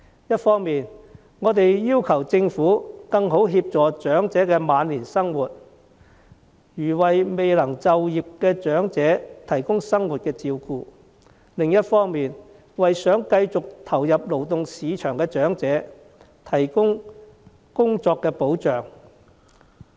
一方面，我們要求政府更好地協助長者面對晚年生活，例如為未能就業的長者提供生活照顧；另一方面，政府應為想繼續投入勞動市場的長者提供工作保障。